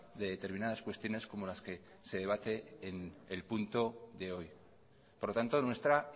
de determinadas cuestiones como las que se debate en el punto de hoy por lo tanto nuestra